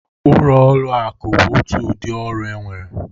Ọrụ ụlọ akụ bụ otu udị ọrụ enwere.